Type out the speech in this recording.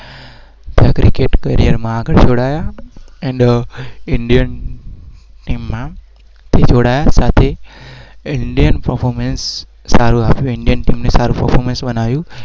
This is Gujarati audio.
વ